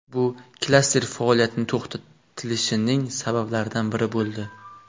Bu klaster faoliyati to‘xtatilishining sabablaridan biri bo‘ldi.